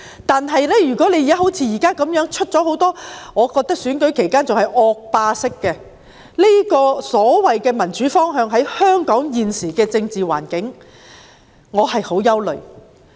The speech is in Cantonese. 但是，如果好像現時這樣，在選舉期間出現我認為是惡霸式的所謂民主方向，那麼在香港現時的政治環境下，我便感到很憂慮。